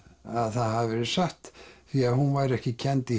það hafi verið satt því hún væri ekki kennd í